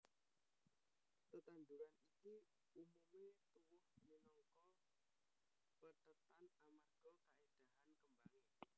Tetanduran iki umumé tuwuh minangka pethètan amarga kaéndahan kembangé